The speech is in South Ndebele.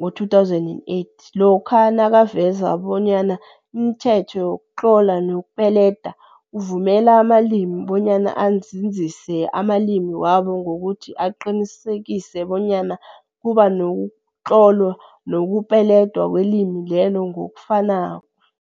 2008, lokha nakaveza bonyana imithetho yokutlola nokupeleda uvumela amalimi bonyana anzinzise amalimi wabo ngokuthi aqinisekise bonyana kuba nokutlolwa nokupeledwa kwelimi lelo ngokufakano.